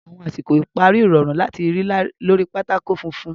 Àwọn àsìkò ìparí rọrùn láti rí lórí pátákó funfun.